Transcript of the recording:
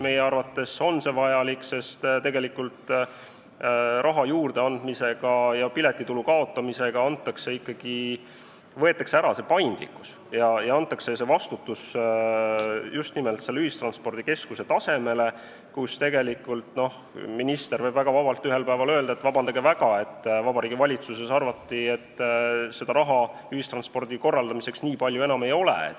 Meie arvates on see vajalik, sest tegelikult raha juurdeandmisega ja piletitulu kaotamisega võetakse ikkagi ära see paindlikkus ja antakse vastutus just nimelt ühistranspordikeskuse tasandile, kus tegelikult minister võib väga vabalt ühel päeval öelda: vabandage väga, aga Vabariigi Valitsuses arvati, et raha ühistranspordi korraldamiseks nii palju enam ei ole.